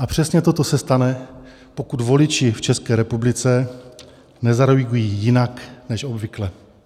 A přesně toto se stane, pokud voliči v České republice nezareagují jinak než obvykle.